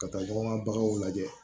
Ka taa ɲɔgɔn ka baganw lajɛ